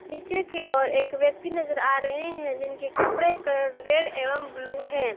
नीचे की और एक व्यक्ति नजर आ रहे हैं जिनके कपड़े का कलर रेड एवं ब्लू है।